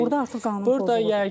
Burda artıq qanun pozuntusudur.